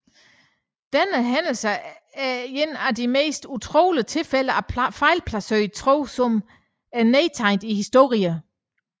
Denne hændelse er en af de mest utrolige tilfælde af fejlplaceret tro som er nedtegnet i historien